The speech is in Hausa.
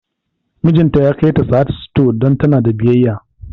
Mijinta ya kai ta Sahad stores don tana da biyayya